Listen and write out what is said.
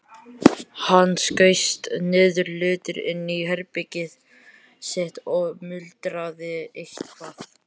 Hann skaust niðurlútur inn í herbergið sitt og muldraði eitthvað.